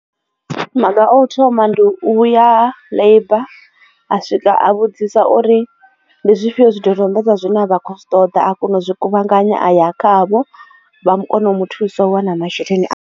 Maga o thoma ndi u ya labour a swika a vhudzisa uri ndi zwifhio zwidodombedzwa zwi ne vha khou zwi ṱoḓa a kona u zwi kuvhanganya aya khavho vha kona u mu thusa u wana masheleni a.